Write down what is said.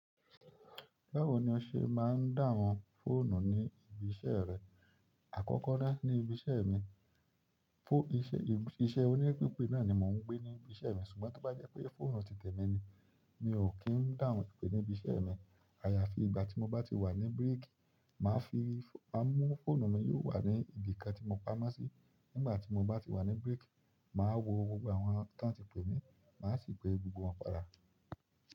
Báwo ni o se ma n dáhùn fóònù ni ibi iṣẹ́ rẹ. Àkọ́kọ́ ná, ní ibi iṣẹ́ mi, iṣẹ́ òní pipe náà ni mò ń gbé ní ibi iṣẹ́ mi. Ṣùgbọ́n tí ó bá jẹ́ pé fóònù ti tẹ̀mí ni, mi ò kín dáhùn ìpè ní ibi iṣẹ́ mi. Àyàfi ìgbà tí mo bá ti wà ní break, màá fi, à mú fóònù mi yóò wà ní ibi kan tí mo pamọ́ sí. Nígbà tí mo bá ti wà ní break, màá wo gbogbo àwọn tí wọ́n ti pè mí, màá sì pe gbogbo wọn padà.